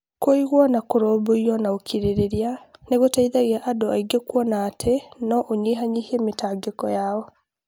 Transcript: Kũiguwo na kũrũmbũiyo na ũkirĩrĩria nĩ gũteithagia andũ aingĩ kuona atĩ no ũnyihanyihie mĩtangĩko yao.